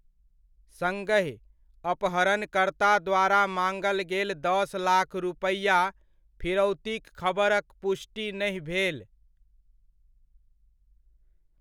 सङहि, अपहरणकर्ता द्वारा माङल गेल दस लाख रुपैआ फिरौतीक खबरक पुष्टि नहि भेल।